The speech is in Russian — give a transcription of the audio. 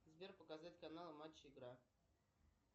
сбер показать каналы матч игра